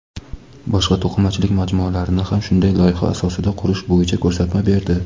boshqa to‘qimachilik majmualarini ham shunday loyiha asosida qurish bo‘yicha ko‘rsatma berdi.